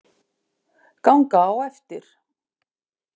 Ganga á eftir.